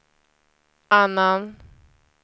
annan